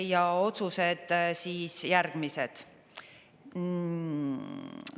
Ja otsused on siis järgmised.